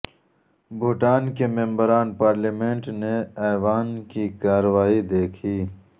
بھوٹان کے ممبران پارلیمنٹ نے ایوان کی کارروائی دیکھی